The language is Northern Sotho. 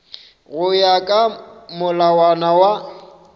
go ya ka molawana wa